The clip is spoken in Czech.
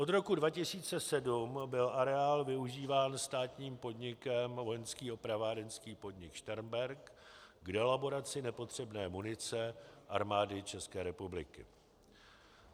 Od roku 2007 byl areál využíván státním podnikem Vojenský opravárenský podnik Šternberk k delaboraci nepotřebné munice Armády České republiky.